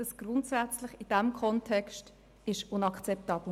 In diesem Kontext ist es inakzeptabel.